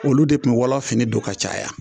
Olu de tun bi wɔlɔ fini don ka caya